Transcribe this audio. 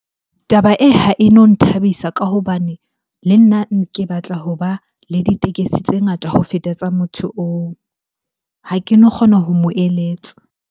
Taba e, ha e no nthabisa ka hobane le nna ke batla hoba le ditekesi tse ngata ho feta tsa motho oo. Ha keno kgona ho mo eletsa.